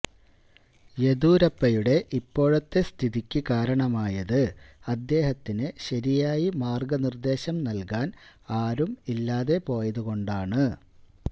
യദിയൂരപ്പയുടെ ഇപ്പോഴത്തെ സ്ഥിതിക്ക് കാരണമായത് അദ്ദേഹത്തിന് ശരിയായി മാര്ഗനിര്ദ്ദേശം നല്കാന് ആരും ഇല്ലാതെപോയതുകൊണ്ടാണ്